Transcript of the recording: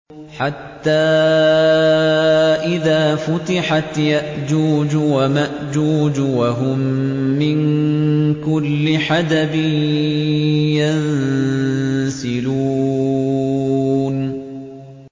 حَتَّىٰ إِذَا فُتِحَتْ يَأْجُوجُ وَمَأْجُوجُ وَهُم مِّن كُلِّ حَدَبٍ يَنسِلُونَ